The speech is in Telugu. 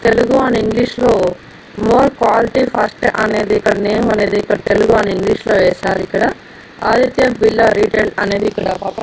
తెలుగు అని ఇంగ్లీషులో మోర్ క్వాలిటీ ఫస్ట్ అనేది ఇక్కడ నేమ్ అనేది ఇక్కడ తెలుగు అని ఇంగ్లీషులో వేసారు ఇక్కడ ఆదిత్య బిల్డర్ రిటైల్ అనేది ఇక్కడ.